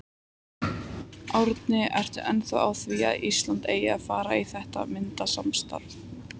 Árni, ertu ennþá á því að Ísland eigi að fara í þetta myntsamstarf?